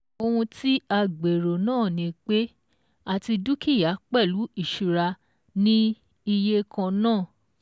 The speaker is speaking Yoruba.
Ohun tí a gbèrò náà ni pé àti dúkìá pẹ̀lú ìṣura ní iye kan náà